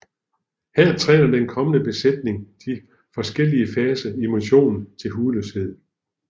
Her træner den kommende besætning de forskellige faser i missionen til hudløshed